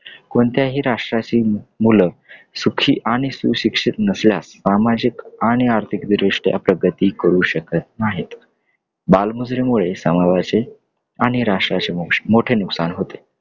कोणत्याही राष्ट्राची मुलं सुखी आणि सुशिक्षित नसल्यास सामाजिक आणि आर्थिकदृष्ट्या प्रगती करू शकत नाहीत. बालमजुरीमुळे समाजाचे आणि राष्ट्राचे मोठे नुकसान होते.